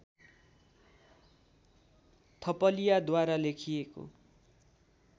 थपलियाद्वारा लेखिएको